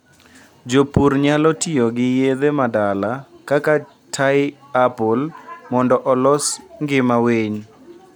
jopur nyalo tiyogi yedhe ma dala kaka tie apple mondo olos ngima winy